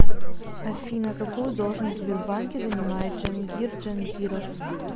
афина какую должность в сбербанке занимает джангир джангиров